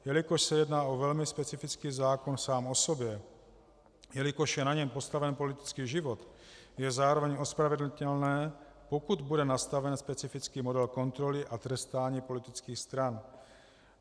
Jelikož se jedná o velmi specifický zákon sám o sobě, jelikož je na něm postaven politický život, je zároveň ospravedlnitelné, pokud bude nastaven specifický model kontroly a trestání politických stran.